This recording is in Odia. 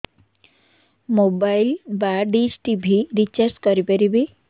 ମୋବାଇଲ୍ ବା ଡିସ୍ ଟିଭି ରିଚାର୍ଜ କରି ପାରିବି